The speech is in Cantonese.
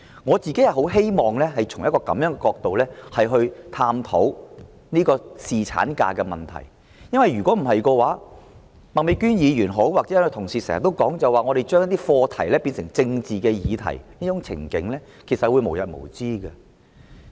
我個人十分希望從這樣的角度探討侍產假的問題；否則，不論是麥美娟議員或其他同事也經常說，我們將一些課題變成政治議題的這種情景，將會無日無之。